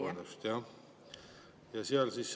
Vabandust!